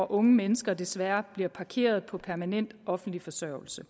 unge mennesker desværre bliver parkeret på permanent offentlig forsørgelse